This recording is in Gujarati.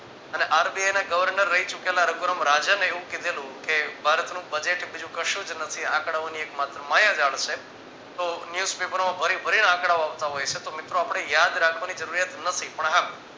અને RBI ના governor રહી ચૂકેલા રાજને એવું કીધેલી કે ભારતનું budget બીજું કશું જ નથી આંકડાઓની માત્ર એક માયાજાળ છે. તો news paper ભરી ભરી ને આંકડાઓ આવતા હોય છે તો મિત્રો આપણે યાદ રાખવાની જરૂરિયાત નથી પણ હા